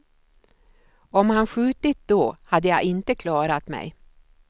Om han skjutit då hade jag inte klarat mig.